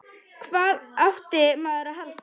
Hvað átti maður að halda?